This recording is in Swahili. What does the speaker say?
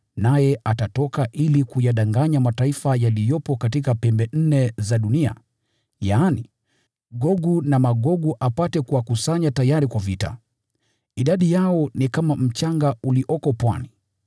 naye atatoka ili kuyadanganya mataifa yaliyopo katika pembe nne za dunia, yaani, Gogu na Magogu apate kuwakusanya tayari kwa vita. Idadi yao ni kama mchanga ulioko pwani.